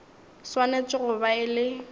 swanetše go ba e le